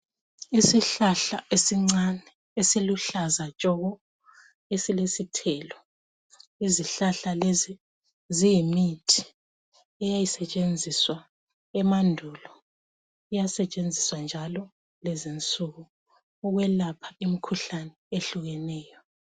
Isihlahla esincane esiluhlaza tshoko esilesithelo izihlahla lezi ziyimithi eyayisetshenziswa emandulu iyasetshenziswa njalo lezinsuku ukwelapha imkhuhlane ehlukeneyo.